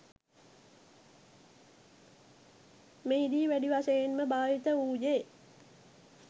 මෙහිදී වැඩි වශයෙන්ම භාවිත වූයේ